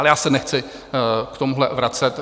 Ale já se nechci v tomhle vracet.